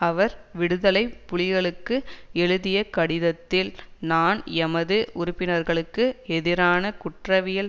அவர் விடுதலை புலிகளுக்கு எழுதிய கடிதத்தில் நான் எமது உறுப்பினர்களுக்கு எதிரான குற்றவியல்